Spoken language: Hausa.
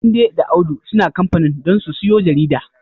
Tunde da Audu suna kamfanin don su siyo jarida.